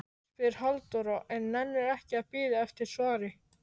spyr Halldóra en nennir ekki að bíða eftir svari.